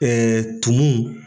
tumu.